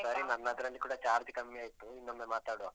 ಸರಿ ನನ್ನದ್ರಲ್ಲಿ ಕೂಡ charge ಕಮ್ಮಿ ಆಯ್ತು. ಇನ್ನೊಮ್ಮೆ ಮಾತಾಡುವ.